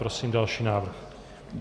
Prosím další návrh.